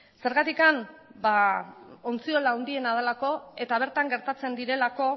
zergatik ba ontziola handiena delako eta bertan gertatzen direlako